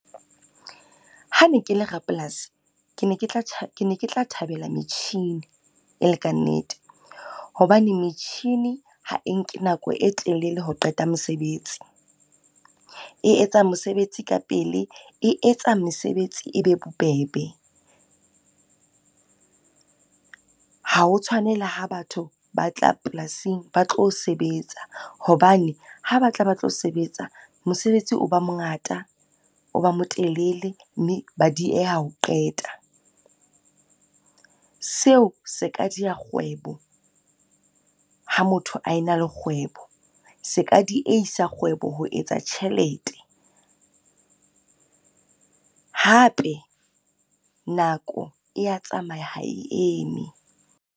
Ha ne ke le rapolasi, ke ne ke tla ke ne ke tla thabela metjhini e le kannete, hobane metjhini ha e nke nako e telele ho qeta mosebetsi. E etsa mosebetsi ka pele, e etsa mesebetsi e be bobebe. Ha o tshwane le ha batho ba tla polasing ba tlo sebetsa, hobane ha ba tla ba tlo sebetsa, mosebetsi o ba mo ngata, o ba mo telele mme ba dieha ho qeta. Seo se ka di ya kgwebo ha motho a ena le kgwebo, se ka diehisa kgwebo ho etsa tjhelete, hape nako e ya tsamaya ha e eme.